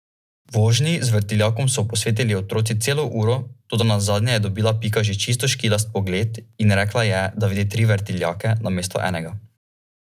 Udobnost povečuje tudi obdajajoča oblika sedežev in širok vzglavnik.